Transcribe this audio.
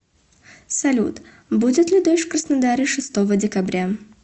салют будет ли дождь в краснодаре шестого декабря